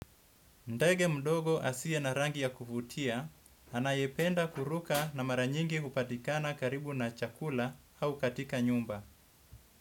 Ndege mdogo asiye na rangi ya kuvutia, anayependa kuruka na mara nyingi hupatikana karibu na chakula au katika nyumba.